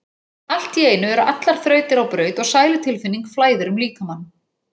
Allt í einu eru allar þrautir á braut og sælutilfinning flæðir um líkamann.